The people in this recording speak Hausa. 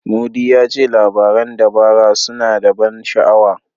Mudi ya ce labaran dabara suna da ban sha'awa.